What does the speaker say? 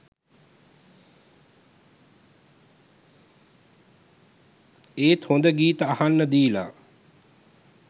ඒත් හොඳ ගීත අහන්න දීලා